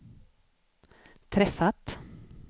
träffat